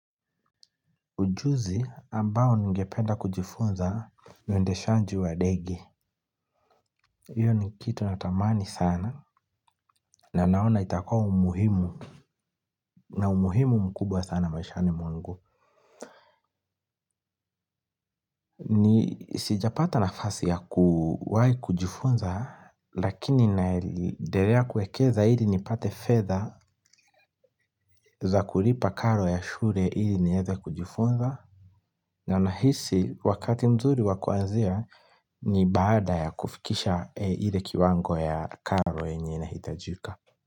Ujuzi ambao ningependa kujifunza ni uendeshaji wa ndege. Hiyo ni kitu natamani sana na naona itakua umuhimu na umuhimu mkubwa sana maishani mwangu. Ni sijapata nafasi ya kuwai kujifunza lakini naedelea kuekeza ili nipate fedha za kulipa karo ya shule ili nieze kujifunza. Na nahisi wakati mzuri wa kuanzia ni baada ya kufikisha ile kiwango ya karo yenye inahitajika.